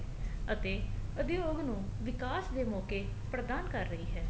ਅਤੇ ਉਦਯੋਗ ਨੂੰ ਵਿਕਾਸ ਦੇ ਮੋਕੇ ਪ੍ਰਧਾਨ ਕਰ ਰਹੀ ਹੈ